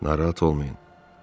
Narahat olmayın.